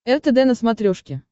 ртд на смотрешке